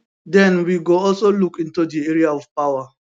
den we go also look into di area of power